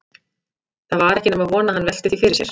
Það var ekki nema von að hann velti því fyrir sér.